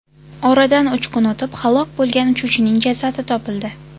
Oradan uch kun o‘tib halok bo‘lgan uchuvchining jasadi topildi.